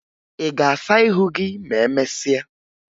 Ị ga-asa ihu gị ma emesịa?